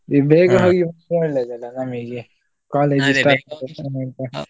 ಈಗ ಹೋಗಿ ಒಳ್ಳೇದಲ್ಲ ನಮಗೆ college .